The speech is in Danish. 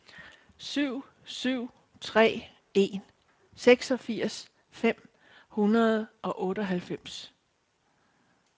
syv syv tre en seksogfirs fem hundrede og otteoghalvfems